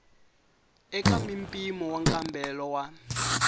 eka mimpimo wa nkambelo wa